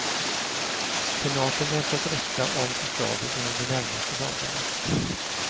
Senaten väntas rösta om förslaget inom de närmaste dagarna.